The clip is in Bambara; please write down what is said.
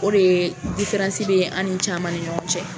O de ye bɛ an ni caman ni ɲɔgɔn cɛ.